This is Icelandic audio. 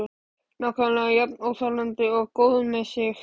Nákvæmlega jafn óþolandi og góður með sig.